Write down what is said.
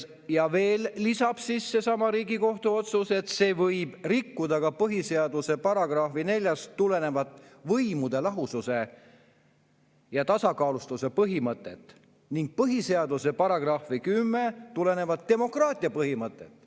" Ja veel lisab seesama Riigikohtu otsus, et see võib rikkuda ka põhiseaduse §‑st 4 tulenevat võimude lahususe ja tasakaalustatuse põhimõtet ning põhiseaduse §‑st 10 tulenevat demokraatia põhimõtet.